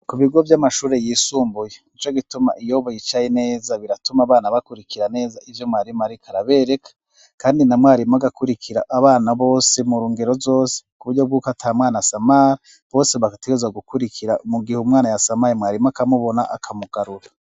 ku bigo vy'amashuri yisumbuye nico gituma iyo bicaye neza biratuma abana bakurikira neza ivyo mwarimu ariko arabereka kandi na mwarimu agakurikira abana bose murungero zose kuburyo bw'uko atamwana samari bose bagategezwa gukurikira mu gihe umwana ya samara mwarimu akamubona akamugarura